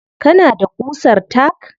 Kana da ƙusar tack?